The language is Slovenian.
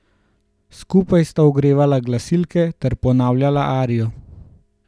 Skupaj sta ogrevala glasilke ter ponavljala arijo.